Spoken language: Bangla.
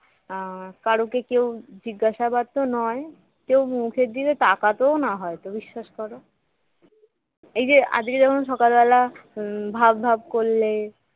আহ কারকে কেউ জিজ্ঞাসাবাদ তো নয় কেউ মুখের দিকে তাকাতেও তো না হয়তো বিশ্বাস করো এই যে আজকে যেমন সকাল বেলা ভাব ভাব করলে